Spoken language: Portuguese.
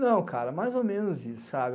Não, cara, mais ou menos isso, sabe?